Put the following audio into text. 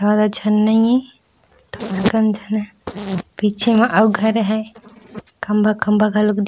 ज्यादा झन नइ ए थोरकन झन ह पीछे म घर हे खम्भा-खम्भा घलोक दिख--